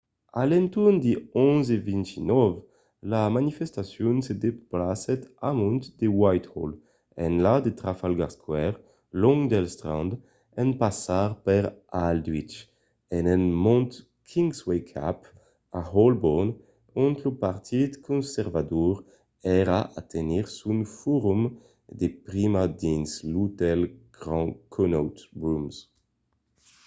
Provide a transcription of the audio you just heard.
a l’entorn de 11:29 la manifestacion se desplacèt amont de whitehall enlà de trafalgar square long del strand en passar per aldwych e en montant kingsway cap a holborn ont lo partit conservador èra a tenir son forum de prima dins l'otèl grand connaught rooms